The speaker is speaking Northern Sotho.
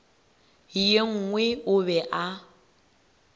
ye nngwe o be a